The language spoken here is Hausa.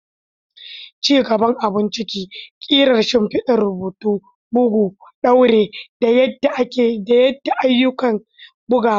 Ci gaban abun ciki, ƙirar shimfidar rubutu, bugu, ɗaure, da yada duk ayyukan bugawa ne.